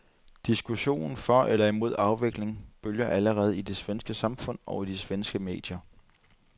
Diskussionen for eller imod afvikling bølger allerede i det svenske samfund og i de svenske medier.